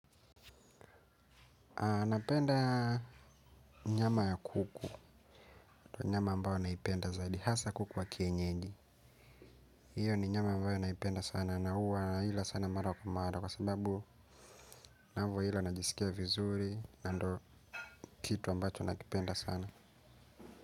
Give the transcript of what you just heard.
Napenda nyama ya kuku. Kwa nyama ambayo naipenda zaidi hasa kuku wa kienyeji hio ni nyama ambayo naipenda sana na huwa naila sana mara kwa mara. Kwa sababu navyoila najisikia vizuri, na ndio kitu ambacho nakipenda sana.